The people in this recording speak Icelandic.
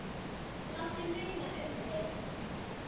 Láttu muna um þig.